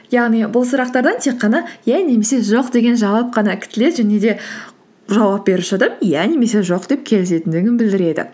яғни бұл сұрақтардан тек қана иә немесе жоқ деген жауап қана күтіледі және де жауап беруші адам иә немесе жоқ деп келісетіндігін білдіреді